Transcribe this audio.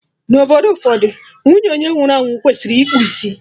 Na obodo ụfọdụ, nwunye onye nwụrụ anwụ kwesịrị ịkpụ isi